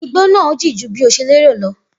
Igbó náà jìn jù bi ọ ṣe lérò lọ